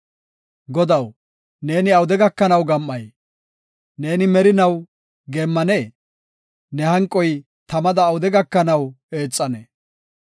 Godaw, neeni awude gakanaw gam7ay? Neeni merinaw geemmanee? Ne hanqoy tamada awude gakanaw eexanee?